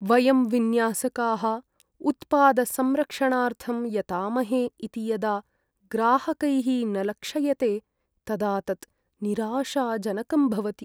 वयं विन्यासकाः उत्पादसंरक्षणार्थं यतामहे इति यदा ग्राहकैः न लक्षयते तदा तत् निराशाजनकं भवति।